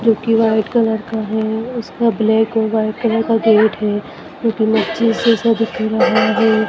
जो कि white colour का है उस पर ब्लैक और व्हाइट कलर का गेट है जो कि दिख रहा है।